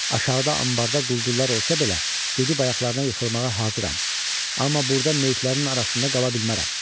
Aşağıda ambarda quldurlar olsa belə gedib ayaqlarına yıxılmağa hazıram, amma burda meyitlərin arasında qala bilmərəm.